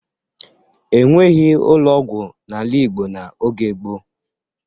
E nweghi ụlọ ọgwụ n'ala Igbo n'oge gboo.